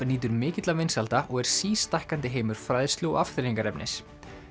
nýtur mikilla vinsælda og er sístækkandi heimur fræðslu og afþreyingarefnis